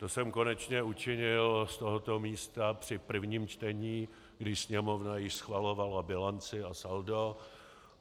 To jsem konečně učinil z tohoto místa při prvním čtení, když Sněmovna již schvalovala bilanci a saldo.